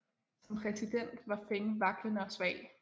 Som præsident var Feng vaklende og svag